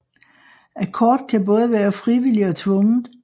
Akkord kan både være frivillig og tvunget